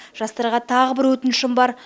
жастарға тағы бір өтінішім бар